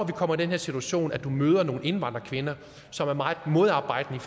kommer i den her situation hvor vedkommende møder nogle indvandrerkvinder som er meget modarbejdende